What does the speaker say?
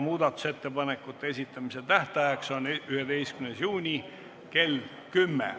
Muudatusettepanekute esitamise tähtaeg on 11. juunil kell 10.